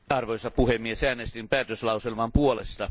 Arvoisa puhemies, äänestin päätöslauselman puolesta.